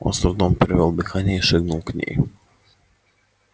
он с трудом перевёл дыхание и шагнул к ней